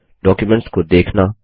documents को देखना